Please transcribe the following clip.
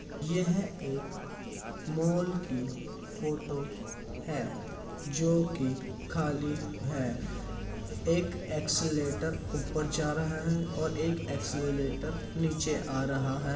यह एक मॉल की है फोटो है जो के खाली है। एक एस्कलेटर ऊपर जा रहा है और एस्कलेटर नीचे आ रहा है।